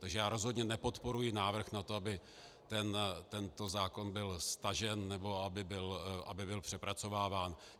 Takže já rozhodně nepodporuji návrh na to, aby tento zákon byl stažen nebo aby byl přepracováván.